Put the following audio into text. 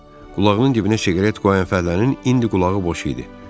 Qulağının dibinə siqaret qoyan fəhlənin indi qulağı boş idi.